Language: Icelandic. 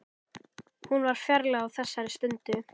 Hún var fjarlæg á þessari stundu.